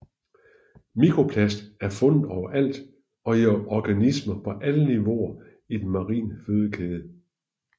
Mikroplast er fundet overalt og i organismer på alle niveauer i den marine fødekæde